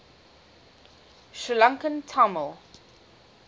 sri lankan tamil